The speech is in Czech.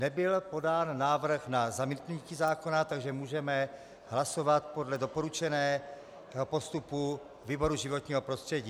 Nebyl podán návrh na zamítnutí zákona, takže můžeme hlasovat podle doporučeného postupu výboru životního prostředí.